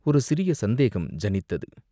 ஒரு சிறிய சந்தேகம் ஜனித்தது.